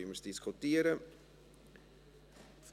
Dann diskutieren wir darüber.